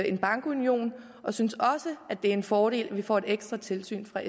en bankunion og vi synes også det er en fordel at vi får et ekstra tilsyn fra